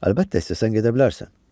Əlbəttə, istəsən gedə bilərsən.